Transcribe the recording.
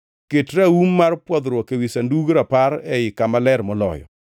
Ket raum mar pwodhruok ewi Sandug Rapar ei Kama Ler Moloyo.